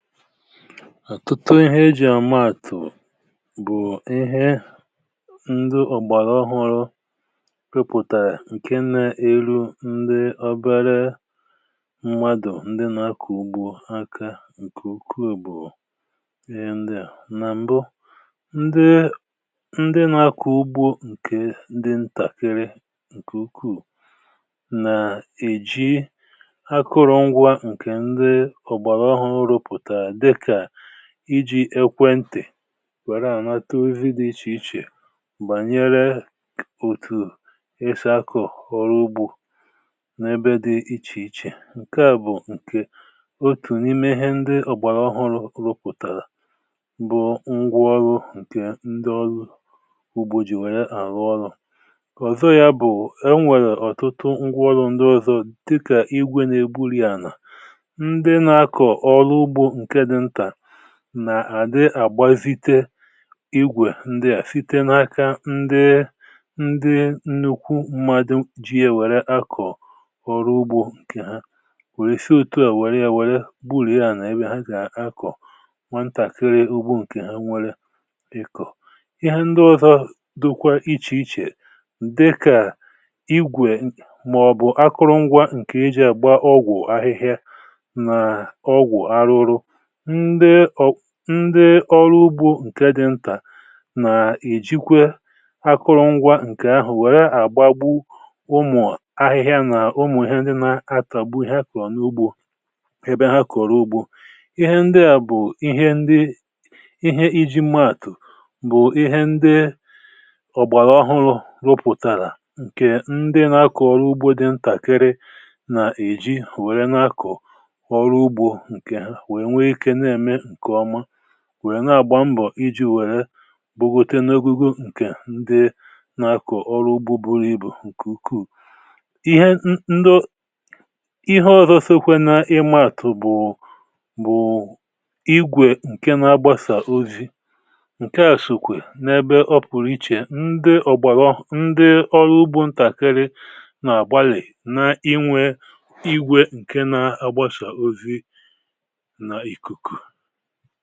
Àtụtụ ihe ejì àmaàtụ̀ bụ̀ ihe ndị ọ̀gbàrà ọhụrụ rụpụ̀tàrị̀, ǹkè nà-èlù ndị obere mmadụ̀, ndị nà-akọ̀ ugbò aka ǹkè ukwuù. um Ǹkè à bụ̀ ihe ndị a nà m̀bụ̀, ndị nà-akọ̀ ugbò, ǹkè ndị ntàkịrị nà ǹkè ukwuu, nà-èji akụrụ̇ngwȧ, ǹkè iji̇ ekwentị̀, wèrè anata ozi dị̇ iche iche gbànyere òtù esi akụ̀ ọrụ ugbȯ n’ebe dị̇ iche iche. ǹkè à bụ̀ ǹkè otu n’ime ihe ndị ọ̀gbàrà ọhụrụ̇ rụpụ̀tàrà — bụ ngwa ọrụ ǹkè ndị ọrụ ugbo jì wèrè àrụ ọrụ̇ ọ̀zọ. um Yà bụ̀, e nwèrè ọ̀tụtụ ngwa ọrụ ndị ọ̀zọ, dịkà igwè na-egbuli ànà nà-àdị àgbazite igwè, ndi à sitere n’aka ndị nnukwu mmadụ̀ ji ye wèrè akọ̀ ọrụ ugbȯ. Ǹkè ha wèrè si n’òtù à, wèrè ya, wèrè bulie à nà ebe ha jàa akọ̀. Nwa ntàkiri ugbò ǹkè ha, nwere ikò ihe ndị ọzọ̇, dụkwa iche iche, dịkà igwè, n’ọ̀bụ̀ akụrụngwȧ ǹkè eji àgba ọgwụ̀ ahịhịa nà ọgwụ̀ arụrụ. Ndị ọrụ ugbȯ ǹkè dị ntà, na-èjikwe akụrụngwȧ ǹkè ahụ̀, wèrè àgbagbu ụmụ̀ ahịhịa nà ụmụ̀ ihe ndị na-atàgbu ihe akụrụ̀ n’ugbȯ ebe ha kọ̀rọ̀ ugbȯ. um Ihe ndị à bụ̀ ihe ndị eji maàtụ̀, bụ̀ ihe ndị ọ̀gbàrà ọhụrụ̇ rụpụ̀tàrà — ǹkè ndị na-akọ̀ ọrụ ugbȯ dị ntàkịrị nà-èji wèrè na-akọ̀ ọrụ ugbȯ ǹkè, wèrè na-àgba mbọ̀ iji̇ wèrè bùgwùte n’ogugu ǹkè na-akọ̀ ọrụ ugbȯ buru ibu ǹkè ukwuù. Ihe ndo ihe ọ̀zọ sịkwè na ime àtụ̀ bụ̀ igwè ǹkè na-agbasà ozi, ǹkè àshụkwè n’ebe ọ pụ̀rụ̀ iche. Ndị ọ̀gbàlọ̀, ndị ọrụ ugbȯ ntàkịrị, na-àgbalì inwė igwè ǹkè na-agbasà ozi ha.